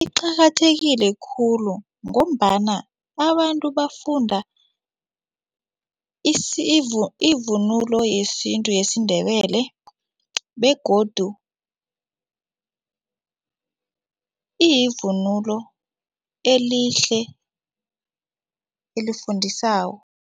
Iqakathekile khulu ngombana abantu bafunda ivunulo yesintu yesiNdebele begodu iyivunulo elihle elifundisako.